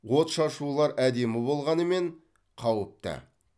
отшашулар әдемі болғанымен қауіпті